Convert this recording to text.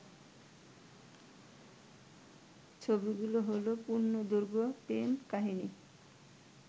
ছবিগুলো হলো পূর্ণদৈর্ঘ্য প্রেম কাহিনী